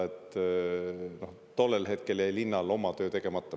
Minu hinnangul jäi tollel hetkel linnal oma töö tegemata.